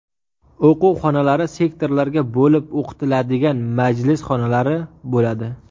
O‘quv xonalari, sektorlarga bo‘lib o‘tiladigan majlis xonalari bo‘ladi.